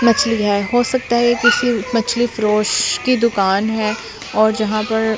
मछली है हो सकता है ये किसी मछली फ्रोश की दुकान है और जहां पर--